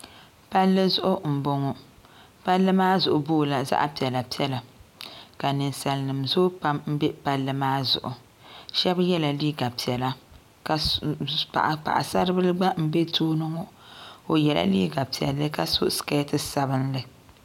Palli zuɣu mboŋɔ palli maa zuɣu boola zaɣa piɛla piɛla ka ninsalnima zoo pam mbe palli maa zuɣu shɛbi yɛla liiga piɛla paɣasaribila m be tooni ŋɔ o yɛla liiga piɛlli ka so siketi sabinli.